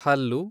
ಹಲ್ಲು